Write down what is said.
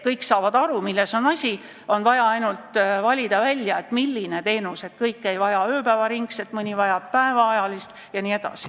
Kõik saavad aru, milles on asi, on vaja ainult valida välja, milline on õige teenus, sest kõik ei vaja ööpäevaringset teenust, mõni vajab päevateenust jne.